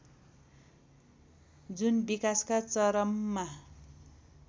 जुन विकासका चरममा